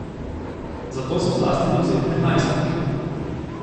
Za to so zlasti dovzetni najstniki.